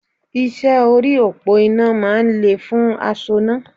Iṣẹ́ orí òpó iná máa ń le fún asoná